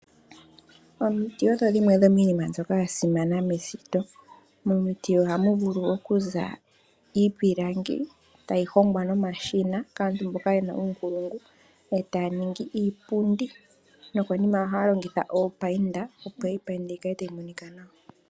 Omiti odho dhimwe dhomii nima mbyoka ya simana me shito. Momiti ohamu vulu oku za iipilangi tayi hongwa noma shina kaantu mboka yena uunkulungu, etaya ningi iipundi noko nima ohaya longitha oopayinda, opo ye yi payinde yi kale tayi monika nawa.